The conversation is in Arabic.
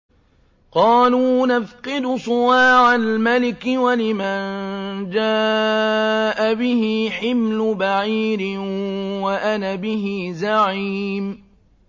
قَالُوا نَفْقِدُ صُوَاعَ الْمَلِكِ وَلِمَن جَاءَ بِهِ حِمْلُ بَعِيرٍ وَأَنَا بِهِ زَعِيمٌ